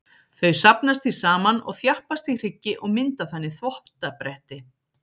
Þau safnast því saman og þjappast í hryggi og mynda þannig þvottabretti.